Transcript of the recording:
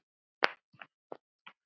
Mótið fer fram í Sviss.